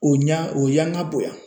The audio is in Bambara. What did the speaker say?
O ɲa o yanka bonya.